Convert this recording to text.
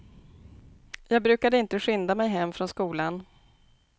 Jag brukade inte skynda mig hem från skolan.